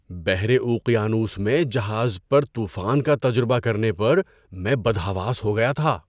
بحر اوقیانوس میں جہاز پر طوفان کا تجربہ کرنے پر میں بدحواس ہو گیا تھا!